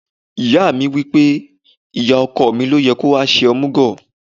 Ìyá mi wí pé, ìyá ọkọ mi ló yẹ kó wá ṣe omugo.